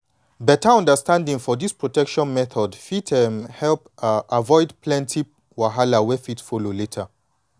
beta understanding for this protection methods fit um help um avoid plenty wahala wey fit come later.